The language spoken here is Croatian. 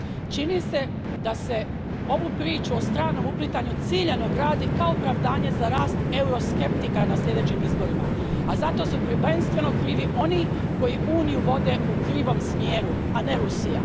Čini se da se ovu priču o stranom uplitanju ciljano gradi kao opravdanje za rast euroskeptika na sljedećim izborima, a zato su prvenstveno krivi oni koji Uniju vode u krivom smjeru, a ne Rusija.